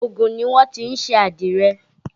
Ògùn ni wọ́n ti ń ṣe àdìrẹ